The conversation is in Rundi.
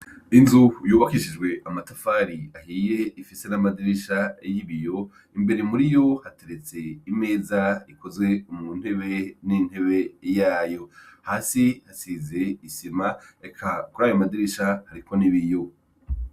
Inzu yubakishijwe amatafari ahiye ifise n'amadirisha y'ibiyo imbere muriyo hateretse imeza ikozwe mu ntebe n'intebe yayo, hasi hasize isima eka kurayo madirisha hariko n'ibiyo.